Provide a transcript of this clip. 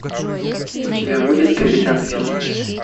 у тебя будет капитан филлипс